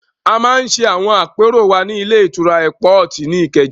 A máa ń ṣe àwọn àpérò wa ní ilé-ìtura Ẹ́pọọ̀tì ní Ìkẹjà.